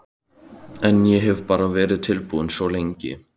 En ég hef bara verið tilbúinn svo lengi.